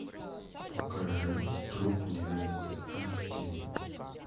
покажи труп невесты аш ди